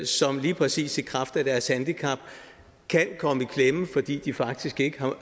som lige præcis i kraft af deres handicap kan komme i klemme fordi de faktisk ikke